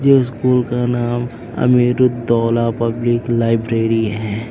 ये स्कूल का नाम अमीरुद्दौला पब्लिक लाइब्रेरी है।